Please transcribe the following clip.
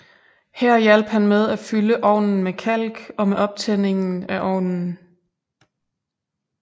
Her hjalp han med at fylde ovnen med kalk og med optændingen af ovnen